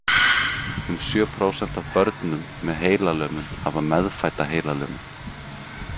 Um sjö prósent af börnum með heilalömun hafa meðfædda heilalömun.